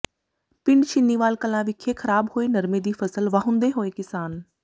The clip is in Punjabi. ਪਿੰਡ ਛੀਨੀਵਾਲ ਕਲਾਂ ਵਿਖੇ ਖ਼ਰਾਬ ਹੋਏ ਨਰਮੇ ਦੀ ਫ਼ਸਲ ਵਾਹੁੰਦੇ ਹੋਏ ਕਿਸਾਨ